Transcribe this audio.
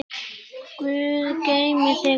Guð geymi þig og afa.